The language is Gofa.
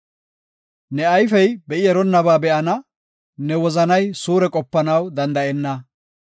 Ne ayfey be7i eronnabaa be7ana; ne wozanay suure qopanaw danda7enna.